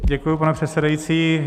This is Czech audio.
Děkuji, pane předsedající.